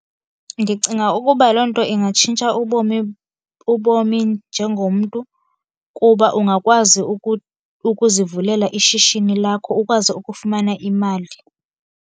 Ndicinga ukuba loo nto ingatshintsha ubomi, ubomi njengomntu. Kuba ungakwazi ukuzivulela ishishini lakho ukwazi ukufumana imali.